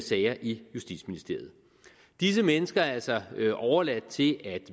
sager i justitsministeriet disse mennesker er altså overladt til at